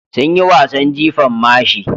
Sun yi wasan jifan mashi.